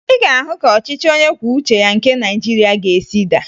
Ị ga-ahụ ka ọchịchị onyekwuoucheya nke Nigeria ga-esi daa